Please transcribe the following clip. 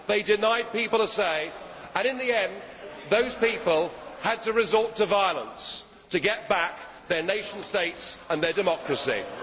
they denied people a say and, in the end, those people had to resort to violence to get back their nation states and their democracies.